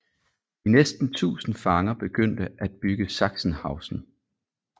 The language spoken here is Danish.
De næsten tusind fanger begyndte at bygge Sachsenhausen